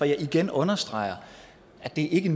jeg igen understreger at det ikke